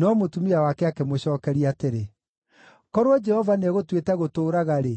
No mũtumia wake akĩmũcookeria atĩrĩ, “Korwo Jehova nĩegũtuĩte gũtũũraga-rĩ,